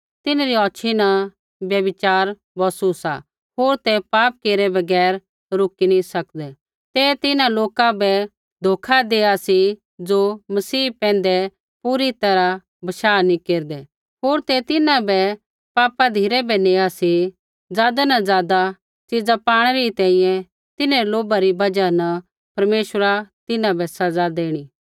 तिन्हरी औछ़ी न व्यभिचार बौसू सा होर ते पाप केरै बगैर रूकी नी सकदै ते तिन्हां लोका बै धोखा देआ सी ज़ो मसीह पैंधै पूरी तैरहा बशाह नी केरदै होर ते तिन्हां बै पापा धिरै बै नेआ सी ज़ादा न ज़ादा च़ीजा पाणै री तिन्हरै लोभा री बजहा न परमेश्वरा तिन्हां बै सज़ा देणी